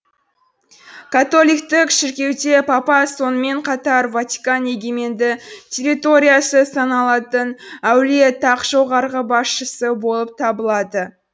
католиктік шіркеуде папа сонымен қатар ватикан егеменді территориясы саналатын әулие тақ жоғарғы басшысы болып табылады